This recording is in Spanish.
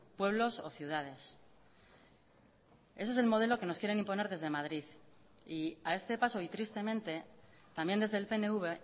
pueblos o ciudades ese es el modelo que nos quieren imponer desde madrid y a este paso y tristemente también desde el pnv